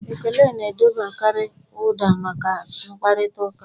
Ekele na-edobekarị ụda maka mkparịta ụka.